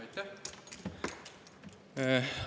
Aitäh!